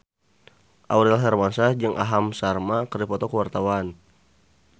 Aurel Hermansyah jeung Aham Sharma keur dipoto ku wartawan